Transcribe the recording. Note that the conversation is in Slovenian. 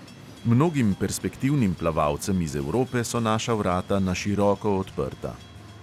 Mnogim perspektivnim plavalcem iz evrope so naša vrata na široko odprta.